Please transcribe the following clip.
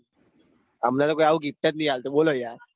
અમને તો કોઈ આવું gift જ નાઈ આપતું યાર